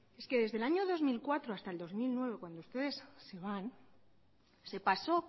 es que desde el año dos mil cuatro hasta el dos mil nueve cuando ustedes se van se pasó